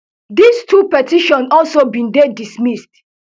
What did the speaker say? dis two petitions also bin dey dismissed